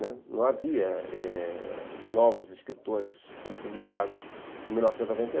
Né, não havia novos escritores sendo publicados em mil novecentos e